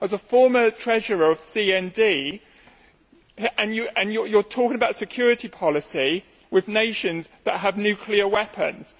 As a former treasurer of CND, you are talking about security policy with nations that have nuclear weapons.